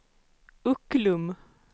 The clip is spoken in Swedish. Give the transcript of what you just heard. Ucklum